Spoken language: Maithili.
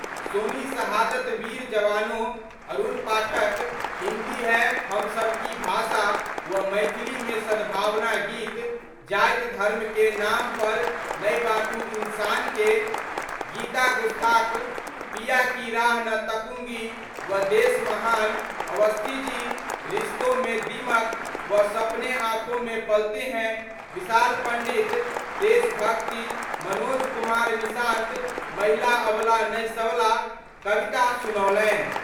सोनी 'शहादत वीर जवानों', अरुण पाठक 'हिंदी है हम सबकी भाषा' व मैथिली मे सद्भावना गीत :जाति धर्म के नाम पर नहि बांटू इंसान के ..', गीता गुस्ताख 'पिया की राह न तकूंगी' व 'देश महान', अवस्थी जी 'रिश्तों में दीमक' व 'सपने आंखों में पलते हैं', विशाल पंडित देशभक्ति, मनोज कुमार निशांत 'महिला अबला नहीं सबला' कविता सुनओलनि।